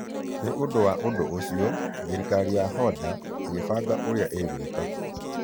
Nĩ ũndũ wa ũndũ ũcio, thirikari ya Honder ĩkĩbanga ũrĩa ĩgwĩka.